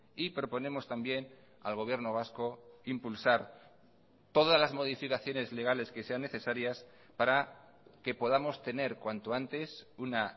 y proponemos también al gobierno vasco impulsar todas las modificaciones legales que sean necesarias para que podamos tener cuanto antes una